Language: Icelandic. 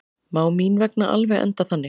Má mín vegna alveg enda þannig.